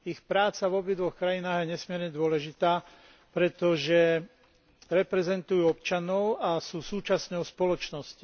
Ich práca v obidvoch krajinách je nesmierne dôležitá, pretože reprezentujú občanov a sú súčasťou spoločnosti.